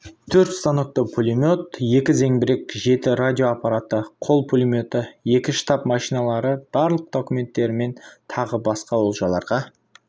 төрт станокті пулемет екі зеңбірек жеті радио аппараты қол пулеметі екі штаб машиналары барлық документтерімен тағы басқа олжаларға